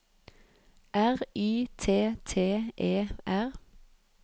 R Y T T E R